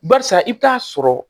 Barisa i bi taa sɔrɔ